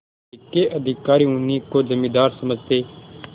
जिले के अधिकारी उन्हीं को जमींदार समझते